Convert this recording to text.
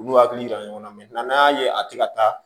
U n'u hakili jira ɲɔgɔn na n'an y'a ye a tɛ ka taa